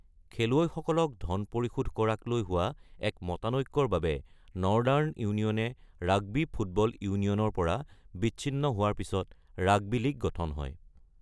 খেলুৱৈসকলক ধন পৰিশোধ কৰাক লৈ হোৱা এক মতানৈক্যৰ বাবে নৰ্দাৰ্ণ ইউনিয়নে ৰাগবী ফুটবল ইউনিয়নৰ পৰা বিচ্ছিন্ন হোৱাৰ পিছত ৰাগবী লীগ গঠন হয়।